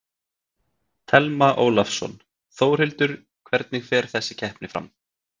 Telma Ólafsson: Þórhildur, hvernig fer þessi keppni fram?